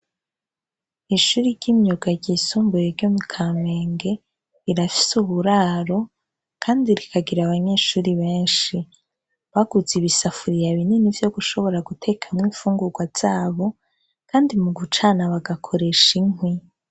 Ishuri ry'inyuga ryisumbuye ryo mu Kamenge rirafise iburaro kandi rirakira abanyeshuri benshi. Baguze ibisafuriya binini vyo gushobora gutekea imfungurwa zabo kandi mu gucana bagakoresha inkwi.